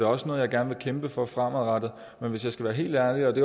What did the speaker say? også noget jeg gerne vil kæmpe for fremadrettet men hvis jeg skal være helt ærlig om